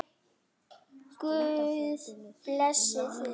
Guð blessi þig!